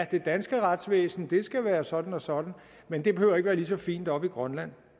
det danske retsvæsen skal være sådan og sådan men det behøver ikke være lige så fint oppe i grønland